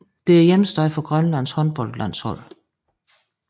Det er hjemsted for Grønlands håndboldlandshold